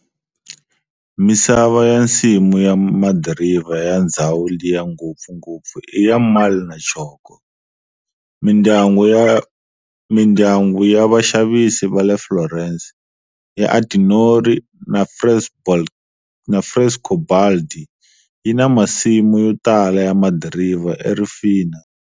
Misava ya nsimu ya madiriva ya ndzhawu liya ngopfungopfu i ya marl na choko. Mindyangu ya vaxavisi vale Florence ya Antinori na Frescobaldi yina masimu yotala ya madiriva e Rufina.